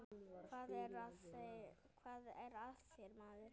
Hvað er að þér maður?